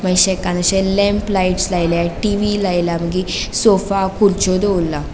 Lamp lights लायला TV लेले मागिर सोफ़ा खूरच्यो दोवोरला.